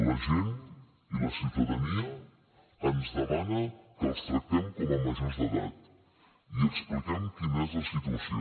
la gent i la ciutadania ens demana que els tractem com a majors d’edat i expliquem quina és la situació